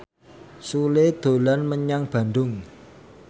Sule dolan menyang Bandung